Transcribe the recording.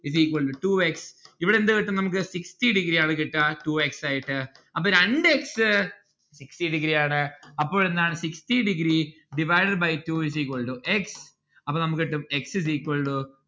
is equal to two x ഇവിടെ എന്ത് കിട്ടും നമ്മുക്ക് sixty degree കിട്ടുക two x ആയിട്ട് ആപ്പോ രണ്ട് x sixty degree ആണ് അപ്പോൾ എന്താണ് sixty degree divide by two is equal to x അപ്പോൾ നമ്മുക്ക് കിട്ടും x is equal to